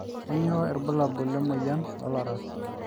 kanyio irbulabul lemoyian oolaras